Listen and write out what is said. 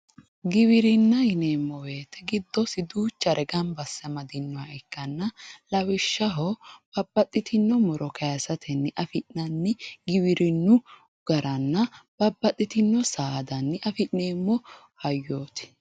Giwirinna yineemmo woyte giddosi duuchare gamba asse amadinoha ikkanna lawishshaho babbaxitino muro kayisatenni affi'nanni giwirinu garanna babbaxitino saadanni affi'neemmo hayyoti.